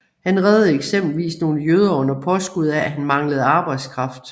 Han reddede eksempelvis nogle jøder under påskud af at han manglede arbejdskraft